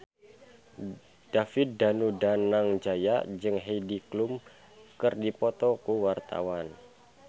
David Danu Danangjaya jeung Heidi Klum keur dipoto ku wartawan